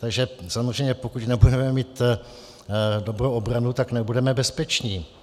Takže samozřejmě pokud nebudeme mít dobrou obranu, tak nebudeme bezpeční.